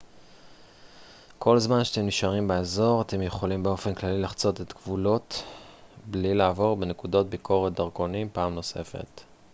כל זמן שאתם נשארים באזור אתם יכולים באופן כללי לחצות גבולות בלי לעבור בנקודות ביקורת דרכונים פעם נוספת